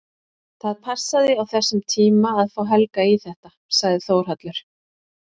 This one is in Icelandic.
Það passaði á þessum tíma að fá Helga í þetta, sagði Þórhallur.